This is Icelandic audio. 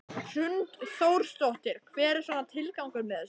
Hrund Þórsdóttir: Hver er svona tilgangur með þessu?